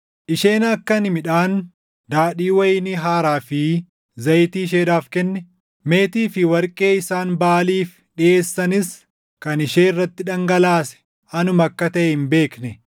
Isheen akka ani midhaan, daadhii wayinii haaraa fi zayitii isheedhaaf kenne, meetii fi warqee isaan Baʼaaliif dhiʼeessanis kan ishee irratti dhangalaase anuma akka taʼe hin beekne.